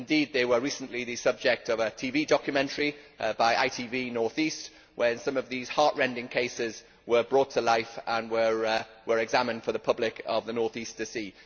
Indeed they were recently the subject of a TV documentary by ITV North East, where some of these heart rending cases were brought to life and were examined for the public of the north east to see.